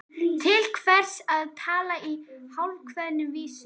Til hvers að tala í hálfkveðnum vísum?